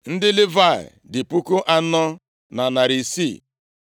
Ndị Livayị dị puku anọ na narị isii. (4,600),